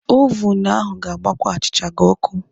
ovun ahụ ga-agbakwa achịcha gị ọkụ.